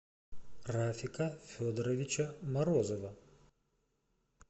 рафика федоровича морозова